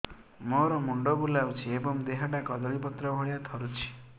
ମୋର ମୁଣ୍ଡ ବୁଲାଉଛି ଏବଂ ଦେହଟା କଦଳୀପତ୍ର ଭଳିଆ ଥରୁଛି